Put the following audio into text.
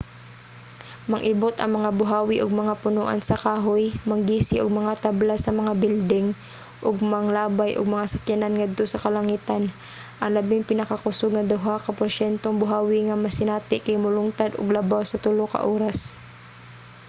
mang-ibot ang mga buhawi og mga punoan sa kahoy manggisi og mga tabla sa mga bilding ug manglabay og mga sakyanan ngadto sa kalangitan. ang labing pinakakusog nga duha ka porsyentong buhawi nga masinati kay molungtad og labaw sa tulo ka oras